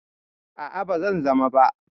A'a, ba zan zama ba.